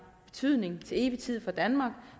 betydning til evig tid for danmark